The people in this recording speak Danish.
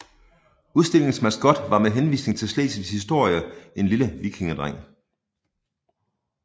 Udstillingens maskot var med henvisning til Slesvigs historie en lille vikingedreng